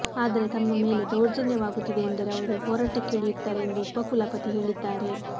ಆದರೆ ತಮ್ಮ ಮೇಲೆ ದೌರ್ಜನ್ಯವಾಗುತ್ತಿದೆ ಎಂದರೆ ಅವರು ಹೋರಾಟಕ್ಕಿಳಿಯುತ್ತಾರೆ ಎಂದು ಉಪಕುಲಪತಿ ಹೇಳಿದ್ದಾರೆ